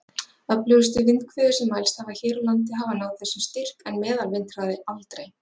Öflugustu vindhviður sem mælst hafa hér á landi hafa náð þessum styrk, en meðalvindhraði aldrei.